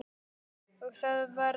Og það varð.